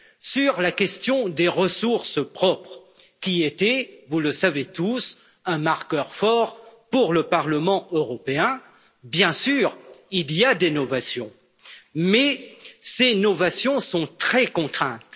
Sur la question des ressources propres, qui étaient, vous le savez tous, un marqueur fort pour le Parlement européen, bien sûr, il y a des novations mais ces novations sont très contraintes.